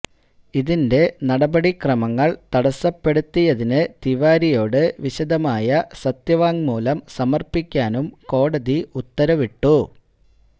ഇതിന്റെ നടപടിക്രമങ്ങള് തടസ്സപ്പെടുത്തിയതിന് തിവാരിയോട് വിശദമായ സത്യവാങ്മൂലം സമര്പ്പിക്കാനും കോടതി ഉത്തരവിട്ടു